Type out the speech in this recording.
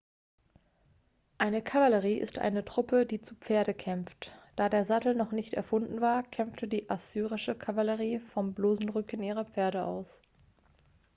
eine kavallerie ist eine truppe die zu pferde kämpft da der sattel noch nicht erfunden war kämpfte die assyrische kavallerie vom bloßen rücken ihrer pferde aus